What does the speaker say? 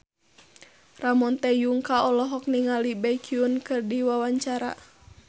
Ramon T. Yungka olohok ningali Baekhyun keur diwawancara